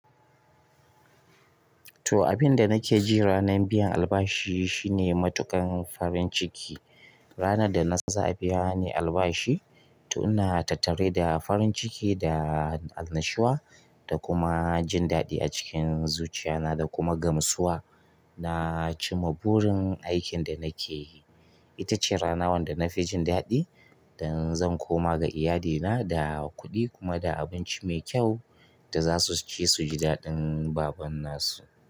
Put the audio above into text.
To, abin da nake ji ranar biyan albashi shine matuƙan farin ciki. Ranar da na san za a biya ni albashi, to ina tattare da farin ciki da annashuwa da kuma jin daɗi a cikin zuciya na da kuma gamsuwa na cimma burin aikin da nake yi. Ita ce rana wanda na fi jin daɗi dan zan koma ga iyalina da kuɗi kuma da abinci mai kyau da zasu ci suji daɗin baƙon nasu.